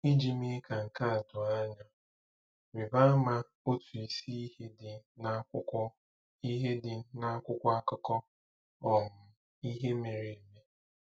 Iji mee ka nke a doo anya, rịba ama otu isi ihe dị n'akwụkwọ ihe dị n'akwụkwọ akụkọ um ihe mere eme.